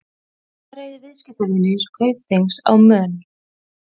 Ævareiðir viðskiptavinir Kaupþings á Mön